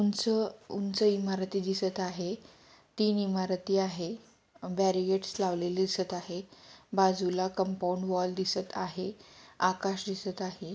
उंच उंच इमारती दिसत आहे तीन इमारती आहे बॅरी गेट्स लावलेले दिसत आहे बाजूला कंपाउंड वॉल दिसत आहे आकाश दिसत आहे.